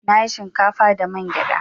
Na yi shinkafa da man gyadar.